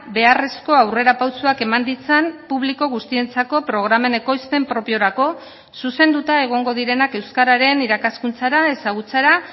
beharrezko aurrerapausoak eman ditzan publiko guztientzako programen ekoizpen propiorako zuzenduta egongo direnak euskararen irakaskuntzara ezagutzara